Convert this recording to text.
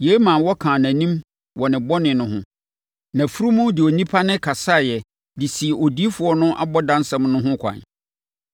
Yei maa wɔkaa nʼanim wɔ ne bɔne no ho. Nʼafunumu de onipa nne kasaeɛ de sii odiyifoɔ no abɔdamsɛm no ho ɛkwan.